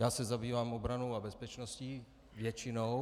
Já se zabývám obranou a bezpečností, většinou.